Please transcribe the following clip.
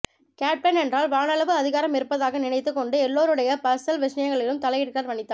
captain என்றால் வானளவு அதிகாரம் இருப்பதாக நினைத்து கொண்டு எல்லோருடைய பர்சனல் விஷயங்களிலும் தலையிடுகிறார் வனிதா